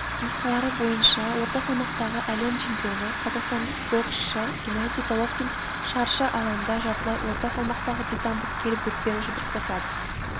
нұсқалары бойынша орта салмақтағы әлем чемпионы қазақстандық боксшы геннадий головкин шаршы алаңда жартылай орта салмақтағы британдық келл брукпен жұдырықтасады